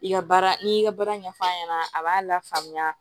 I ka baara n'i y'i ka baara ɲɛf'a ɲɛna a b'a lafaamuya